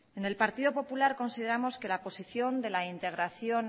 en el partido popular consideramos que la posición de la integración